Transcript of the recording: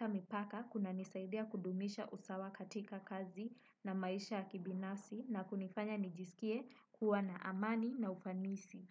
shuguli za kibinafsi.